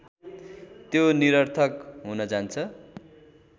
त्यो निरर्थक हुनजान्छ